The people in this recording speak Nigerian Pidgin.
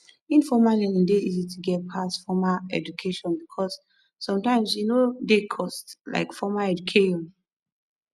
informal learning dey easy to get pass formal education because sometimes e no dey cost like formal educa